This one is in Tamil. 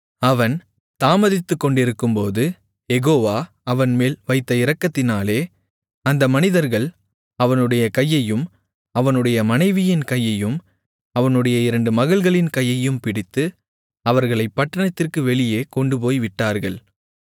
அவன் தாமதித்துக்கொண்டிருக்கும்போது யெகோவா அவன்மேல் வைத்த இரக்கத்தினாலே அந்த மனிதர்கள் அவனுடைய கையையும் அவனுடைய மனைவியின் கையையும் அவனுடைய இரண்டு மகள்களின் கையையும் பிடித்து அவர்களைப் பட்டணத்திற்கு வெளியே கொண்டுபோய் விட்டார்கள்